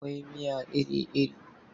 Akwai miya iri-iri.